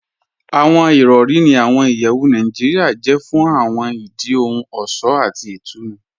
Awọn irọ̀ri ní awọn ìyẹwù Naijiria jẹ̀ fún awọn ìdí ohun ọṣọ̀ àti ìtúnu.